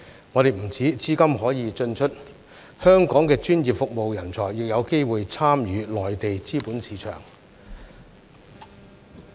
在香港，不單資金可以進出，我們的專業服務人才亦有機會參與內地資本市場。